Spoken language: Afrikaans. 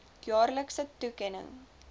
jaarlikse toekenning